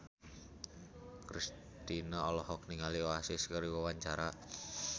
Kristina olohok ningali Oasis keur diwawancara